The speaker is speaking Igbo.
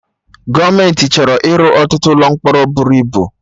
Gọọmenti chọrọ ịrụ ọtụtụ ụlọ mkpọrọ bụrụ ibu